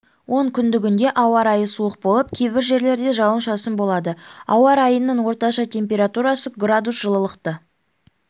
онкүндігінде ауа райы суық болып кейбір жерлерде жауын-шашын болады ауа райының орташа температурасы градус жылылықты